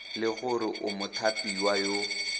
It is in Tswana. le gore o mothapiwa yo